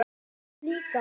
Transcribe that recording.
Þú líka?